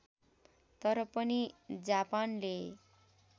तर पनि जापानले